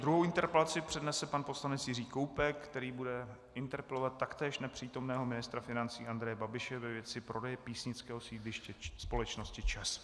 Druhou interpelaci přednese pan poslanec Jiří Koubek, který bude interpelovat taktéž nepřítomného ministra financí Andreje Babiše ve věci prodeje písnického sídliště společnosti ČEZ.